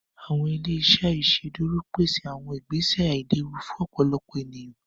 Awọn ile-iṣẹ iṣẹdúró péṣè awọn ìgbèsẹ̀ àìlẹ̀wù fún ọ̀pọ̀lọ̀pọ̀ ènìyàn